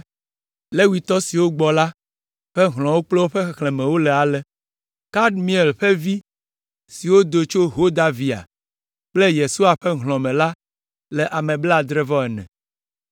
Levitɔ siwo gbɔ la ƒe hlɔ̃wo kple woƒe xexlẽmewo le ale: Kadmiel ƒe vi siwo do tso Hodavia kple Yesua ƒe hlɔ̃ me la le ame blaadre-vɔ-ene (74).